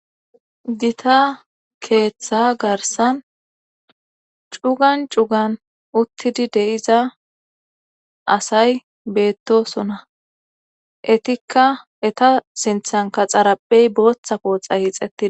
Gita keeththa garsan cugan cugan uttidi deiza asay beettosona etikka eta sinthan kaxaraphey booththa pooxa hixetid